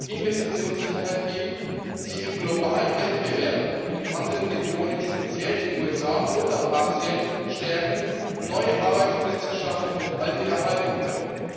Investitionssicherheit geben, sie im globalen Wettbewerb mit anderen Regionen, speziell den USA und auch Asien, stärken, neue Arbeitsplätze schaffen und alte erhalten können.